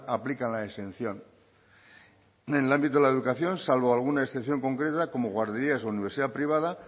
aplican la exención en el ámbito de la educación salvo alguna excepción concreta como guarderías o universidad privada